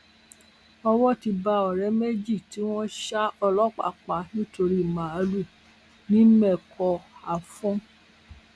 owó ti bá ọrẹ méjì tí wọn ṣa ọlọpàá pa nítorí màálùú nìmẹkọafọn